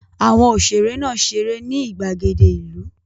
Àwọn òṣèrè náà ṣeré ní ìgbàgede ìlú.